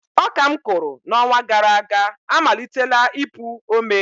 Ọka m kụrụ n’ọnwa gara aga amalitela ipụ ome